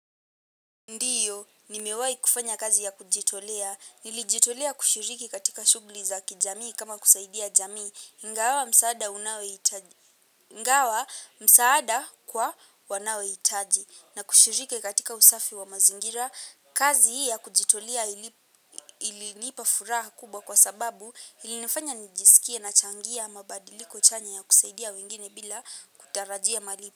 Ndiyo, nimewahi kufanya kazi ya kujitolea, nilijitolea kushiriki katika shughli za kijamii kama kusaidia jamii, ingawa msaada kwa wanaohitaji, na kushiriki katika usafi wa mazingira, kazi hii ya kujitolea ilinipa furaha kubwa kwa sababu ilinifanya nijisikia nachangia mabadiliko chanya ya kusaidia wengine bila kutarajia malipa.